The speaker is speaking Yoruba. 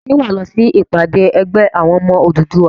Ṣé wà á lọ sí ìpàdé ẹgbẹ́ àwọn ọmọ Odùduwà?